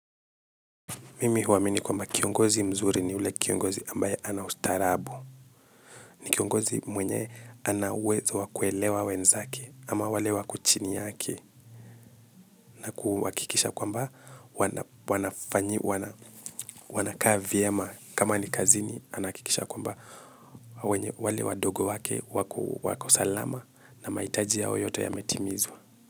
Mimi huamini kwamba kiongozi mzuri ni ule kiongozi ambaye ana ustarabu. Ni kiongozi mwenye ana uwezo wa kuelewa wenzake ama wale wako chini yake na kuhakikisha kwamba, wanakaa vyema. Kama ni kazini, anahakikisha kwamba wale wadogo wake wako salama na mahitaji yao yote yametimizwa.